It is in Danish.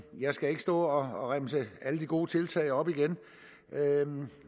jeg skal ikke stå og remse alle de gode tiltag op igen